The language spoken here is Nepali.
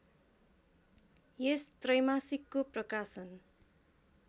यस त्रैमासिकको प्रकाशन